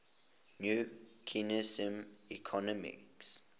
new keynesian economics